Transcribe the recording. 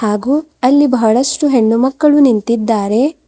ಹಾಗು ಅಲ್ಲಿ ಬಹಳಷ್ಟು ಹೆಣ್ಣು ಮಕ್ಕಳು ನಿಂತಿದ್ದಾರೆ.